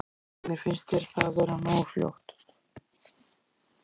Heimir: Finnst þér það vera nógu fljótt?